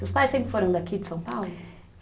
Seus pais sempre foram daqui de São Paulo?